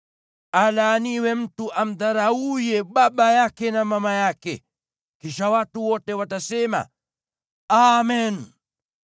“Alaaniwe mtu amdharauye baba yake na mama yake.” Kisha watu wote watasema, “Amen!”